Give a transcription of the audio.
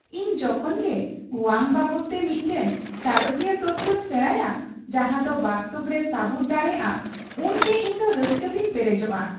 ᱤᱧ ᱡᱚᱠᱷᱚᱱ ᱜᱮ ᱚᱣᱟᱝ ᱵᱟᱵᱚᱫᱛᱮ ᱢᱤᱫᱴᱟᱝ ᱥᱟᱬᱮᱥᱤᱭᱟᱹ ᱛᱚᱛᱛᱚᱧ ᱥᱮᱬᱟᱭᱟ ᱡᱟᱦᱟᱸᱫᱚ ᱵᱟᱥᱛᱚᱵ ᱨᱮ ᱥᱟᱹᱵᱩᱫ ᱫᱟᱲᱮᱭᱟᱜᱼᱟ ᱩᱱ ᱜᱮ ᱤᱧᱫᱚ ᱨᱟᱹᱥᱠᱟᱹᱛᱮᱧ ᱯᱮᱨᱮᱡᱚᱜᱼᱟ ᱾